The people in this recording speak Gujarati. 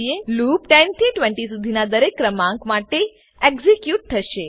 લૂપ 10 થી 20 સુધીનાં દરેક ક્રમાંક માટે એક્ઝીક્યુટ થશે